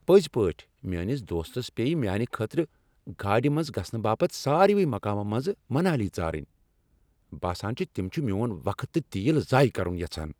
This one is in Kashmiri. پٔزۍ پٲٹھۍ، میٲنِس دوستس پییہِ میانہِ خٲطرٕ گاڑِ منز گژھنہٕ باپت ساروٕے مقامو منزٕمنالی ژارٕنۍ ۔ باسان چُھ تم چھ میون وقت تہٕ تیل ضایع كرُن یژھان !